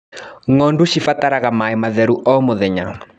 Ngondu cibataraga maĩ matheru o mũthenya.